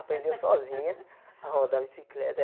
Aprendeu sozinha a rodar bicicleta.